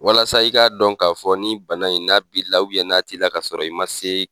Walasa i k'a dɔn k'a fɔ nin bana in n'a bi la n'a t'i la ka sɔrɔ i man se